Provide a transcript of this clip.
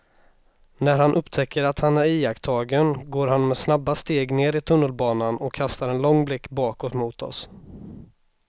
När han upptäcker att han är iakttagen går han med snabba steg ner i tunnelbanan och kastar en lång blick bakåt mot oss.